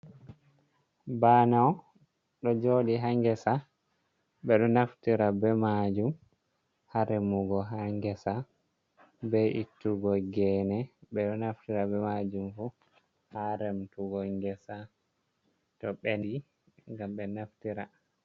Banao ɗo jodi ha gesa ɓe ɗo naftira ɓe majum ha remugo ha ngesa be ittugo gene ɓe ɗo naftira ɓe majum fu ha remtugo gesa to ɓeɗi gam ɓe naftira.